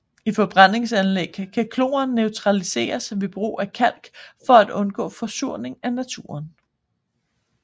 I forbrændingsanlæg kan kloren neutraliseres ved brug af kalk for at undgå forsuring af naturen